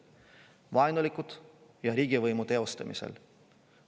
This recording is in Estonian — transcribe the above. "Vaenulike" ja "riigivõimu teostamisel".